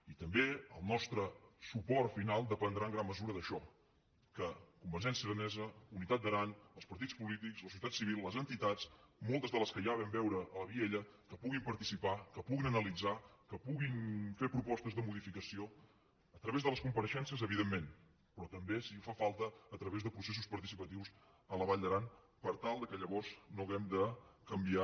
i també el nostre suport final dependrà en gran mesura d’això que convergència aranesa unitat d’aran els partits polítics la societat civil les entitats moltes de les quals ja vam veure a vielha puguin participar puguin analitzar puguin fer propostes de modificació a través de les compareixences evidentment però també si fa falta a través de processos participatius a la vall d’aran per tal que llavors no hàgim de canviar